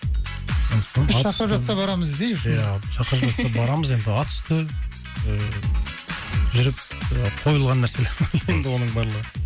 шақырып жатса барамыз иә шақырып жатса барамыз енді енді атүсті жүріп і қойылған нәрселер енді оның барлығы